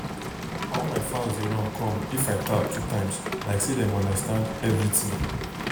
all my fowls dey run come if i tap two times like say dem understand everything.